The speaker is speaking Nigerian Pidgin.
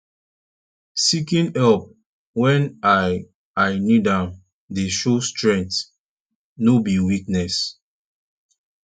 seeking help wen i i need am dey show strength no be weakness